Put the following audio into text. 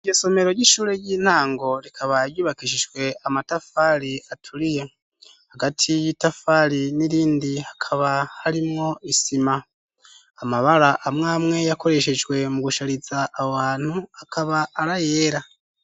Iryo somero ry'ishure ry'intango rikaba ryubakishijwe amatafari aturiye, hagati y'itafari n'irindi hakaba harimwo isima ,amabara amw'amwe yakoreshejwe mu gushariza aho hantu akaba ari ayera.